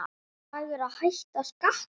Ætlar Dagur að hækka skatta?